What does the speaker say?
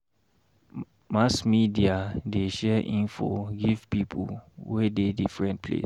Mass media dey share info give pipo wey dey differen place.